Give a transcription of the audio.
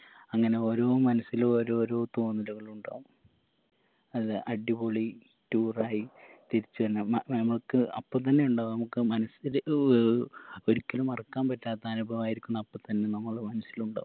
അങ്ങനെ ഓരോ മനസ്സിലു ഓരോ ഓരോ തോന്നലുകളുണ്ടാവും അത് അടിപൊളി tour ആയി തിരിച്ചു വന്ന മ നാമുക്ക് അപ്പൊ തന്നെ ഉണ്ടാകും മ്മക്ക് മനസ്സിൽ ഏർ ഒരിക്കലും മറക്കാൻ പറ്റാത്ത അനുഭവായിരിക്കണം അപ്പൊ തന്നെ നമ്മള മനസിലുണ്ടാകും